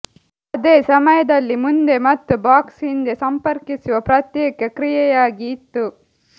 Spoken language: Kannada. ಅದೇ ಸಮಯದಲ್ಲಿ ಮುಂದೆ ಮತ್ತು ಬಾಕ್ಸ್ ಹಿಂದೆ ಸಂಪರ್ಕಿಸುವ ಪ್ರತ್ಯೇಕ ಕ್ರಿಯೆಯಾಗಿ ಇತ್ತು